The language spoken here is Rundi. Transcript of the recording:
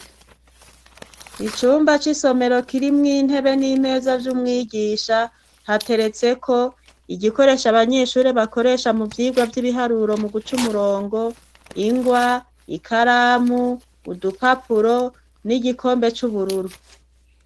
Icumba c'isomero kirimwo intebe n'imeza vy'umwigisha hateretseko igikoresho abanyeshure bakoresha mu vyigwa vy'ibiharuro mu guca umurongo, ingwa, ikaramu udupapuro, n'igikombe c'ubururu.